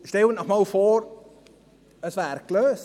Stellen Sie sich vor, es wäre gelöst: